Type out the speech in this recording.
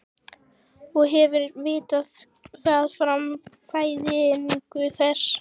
Og hefðum vitað það frá fæðingu þess.